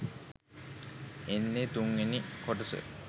එන්නෙ තුන්වෙනි කොටස